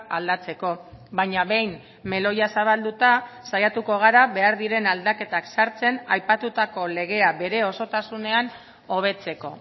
aldatzeko baina behin meloia zabalduta saiatuko gara behar diren aldaketak sartzen aipatutako legea bere osotasunean hobetzeko